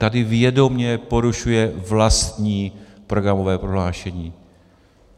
Tady vědomě porušuje vlastní programové prohlášení.